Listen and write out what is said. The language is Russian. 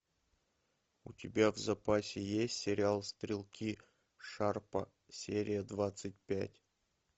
у тебя в запасе есть сериал стрелки шарпа серия двадцать пять